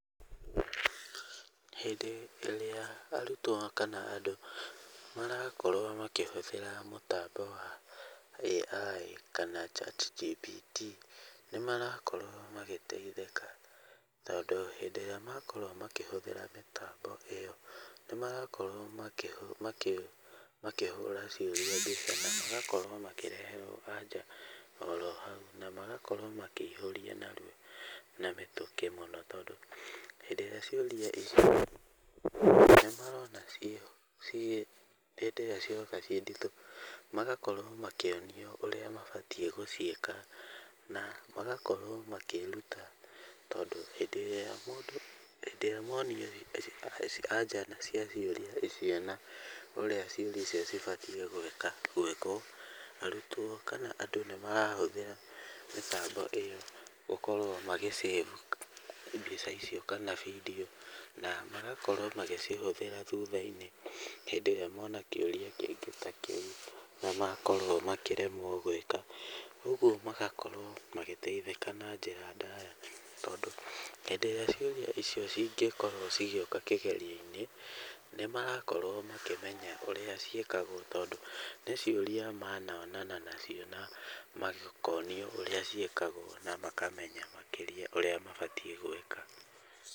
Hĩndĩ ĩrĩa arutwo kana andũ marakorwo makĩhũthĩra mũtambo wa AI kana ChatGPT nĩ marakorwo magĩteithĩka tondũ hĩndĩ ĩrĩa makorwo makĩhũthĩra mĩtambo ĩyo, nĩ marakorwo makĩhũra ciũria nditũ na magakorwo makĩreherwo anja oro hau. Na magakorwo makĩihũria narua na mĩtũkĩ mũno tondũ hĩndĩ irĩa ciũria icio nĩ marona ciĩ hĩndĩ ĩrĩa cioka ciĩ nditũ, magakorwo makĩonio ũrĩa mabatiĩ gũciĩka na magakorwo makĩĩruta. Tondũ hĩndĩ ĩrĩa monio anja cia ciũria icio na ũrĩa ciũria icio cibatiĩ gwĩka, gwĩkwo, arutwo kana andũ nĩ marahũthĩra mĩbango ĩyo gũkorwo magĩ save mbica ta icio kana video na magakorwo magĩcihũthĩra thutha-inĩ hĩndĩ ĩrĩa mona kĩũria kĩngĩ ta kĩu na makorwo makĩremwo gwĩka. Ũguo magakorwo magĩteithĩka na njĩra ndaya tondũ hĩndĩ ĩrĩa ciũria icio cingĩkorwo cigĩũka kĩgerio-inĩ, nĩ marakorwo makĩmenya ũrĩa ciĩkagwo tondũ nĩ ciũria manonana nacio na makonio ũrĩa ciĩkagwo na makamenya makĩria ũrĩa mabatiĩ gwĩka.